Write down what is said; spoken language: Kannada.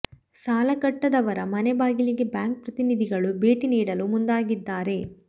ಸಾಲ ಕಟ್ಟದವರ ಮನೆ ಬಾಗಿಲಿಗೆ ಬ್ಯಾಂಕ್ ಪ್ರತಿನಿಧಿಗಳು ಭೇಟಿ ನೀಡಲು ಮುಂದಾಗಿದ್ದಾರೆ